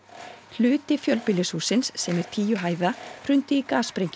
hluti fjölbýlishússins sem er tíu hæða hrundi í